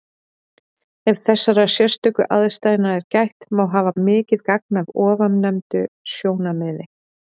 Ef þessara sérstöku aðstæðna er gætt, má hafa mikið gagn af ofannefndu sjónarmiði.